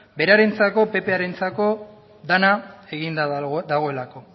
berarentzako dena eginda dagoelako